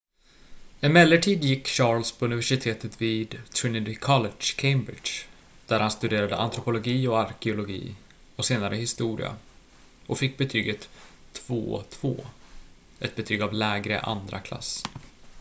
emellertid gick charles på universitetet vid trinity college cambridge där han studerade antropologi och arkeologi och senare historia och fick betyget 2:2 ett betyg av lägre andraklass